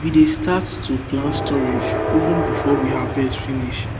we dey start to plan storage even before we harvest finish